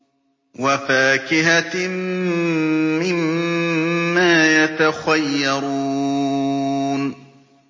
وَفَاكِهَةٍ مِّمَّا يَتَخَيَّرُونَ